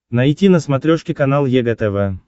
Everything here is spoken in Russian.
найти на смотрешке канал егэ тв